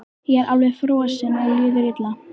Ég er alveg frosinn og líður illa.